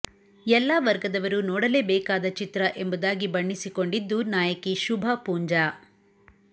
ಎಲ್ಲಾ ವರ್ಗದವರು ನೋಡಲೇ ಬೇಕಾದ ಚಿತ್ರ ಎಂಬುದಾಗಿ ಬಣ್ಣಿಸಿಕೊಂಡಿದ್ದು ನಾಯಕಿ ಶುಭಾಪೂಂಜಾ